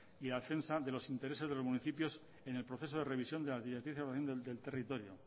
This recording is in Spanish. y a la defensa de los intereses de los municipios en el proceso de revisión de las directrices del territorio